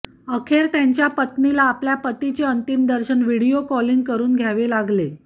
अखेर त्यांच्या पत्नीला आपल्या पतीचे अंतिम दर्शन व्हिडीओ कॉलिंग करून घ्यावे लागले